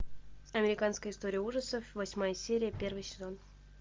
американская история ужасов восьмая серия первый сезон